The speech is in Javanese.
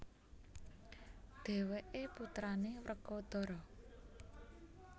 Dhèwèké putrané Wrekodara